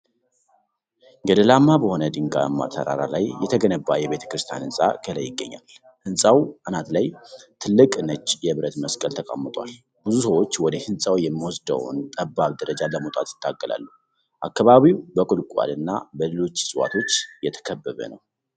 ገደላማ በሆነ ድንጋያማ ተራራ ላይ የተገነባ የቤተክርስቲያን ህንጻ ከላይ ይገኛል። ህንጻው አናት ላይ ትልቅ ነጭ የብረት መስቀል ተቀምጧል። ብዙ ሰዎች ወደ ህንጻው የሚወስደውን ጠባብ ደረጃ ለመውጣት ይታገላሉ። አካባቢው በቁልቋል እና በሌሎች እፅዋቶች የተከበበ ነው።